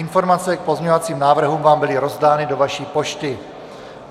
Informace k pozměňovacím návrhům vám byly rozdány do vaší pošty.